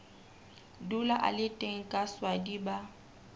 dula a le teng kaswadi ba